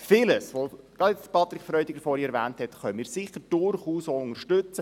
Vieles, was Patrick Freudiger erwähnt hat, können wir durchaus auch unterstützen.